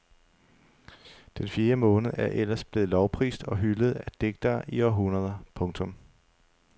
Den fjerde måned er ellers blevet lovprist og hyldet af digtere i århundreder. punktum